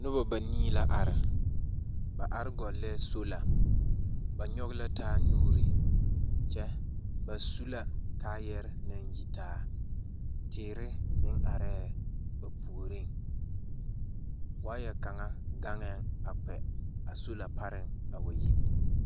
Noba banii la are. Ba are gɔlɛɛ sola ba nyɔge la taanuri kyɛ bas u la kaayere naŋ yitaa teere meŋ arɛɛ ba puoriŋ. Waayɛ kaŋa gaŋɛɛŋ a sola pareŋ a kpɛ a wa yi.